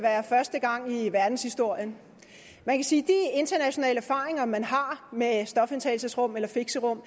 være første gang i verdenshistorien man kan sige at de internationale erfaringer man har med stofindtagelsesrum eller fixerum